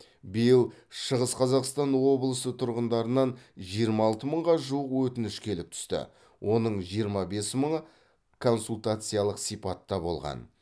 биыл шығыс қазақстан облысы тұрғындарынан жиырма алты мыңға жуық өтініш келіп түсті оның жиырма бес мыңы консультациялық сипатта болған